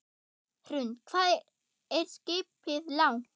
Hrund: Hvað er skipið langt?